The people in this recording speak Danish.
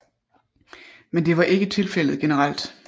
Men det var ikke tilfældet generelt